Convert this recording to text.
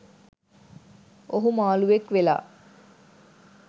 ඔහු මාළුවෙක් වෙලා